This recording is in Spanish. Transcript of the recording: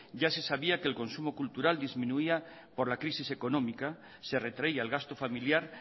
ya se sabía que el consumo cultural disminuía por la crisis económica se retraía el gasto familiar